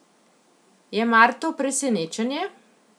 Je mar to presenečenje?